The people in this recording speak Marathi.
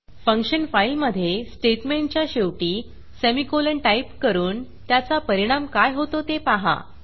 फंक्शन फाईलमधे स्टेटमेंटच्या शेवटी सेमीकोलन टाईप करून त्याचा परिणाम काय होतो ते पाहा